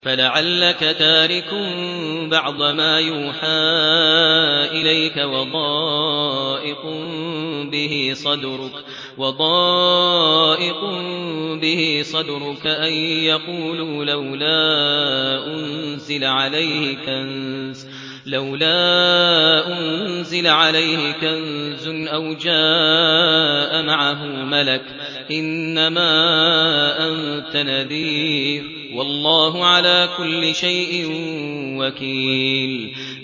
فَلَعَلَّكَ تَارِكٌ بَعْضَ مَا يُوحَىٰ إِلَيْكَ وَضَائِقٌ بِهِ صَدْرُكَ أَن يَقُولُوا لَوْلَا أُنزِلَ عَلَيْهِ كَنزٌ أَوْ جَاءَ مَعَهُ مَلَكٌ ۚ إِنَّمَا أَنتَ نَذِيرٌ ۚ وَاللَّهُ عَلَىٰ كُلِّ شَيْءٍ وَكِيلٌ